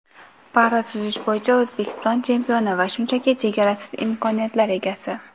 Para-suzish bo‘yicha O‘zbekiston chempioni va shunchaki chegarasiz imkoniyatlar egasi.